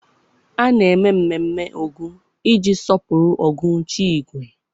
A na-eme mmemme Ogun iji sọpụrụ Ogun chi ígwè